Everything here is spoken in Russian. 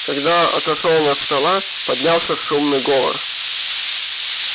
когда отошёл он от стола поднялся шумный говор